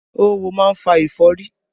Oówo máa ń fa ẹ̀fọ́rí